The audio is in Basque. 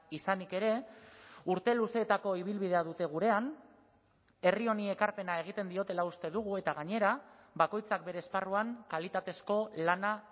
izanik ere urte luzeetako ibilbidea dute gurean herri honi ekarpena egiten diotela uste dugu eta gainera bakoitzak bere esparruan kalitatezko lana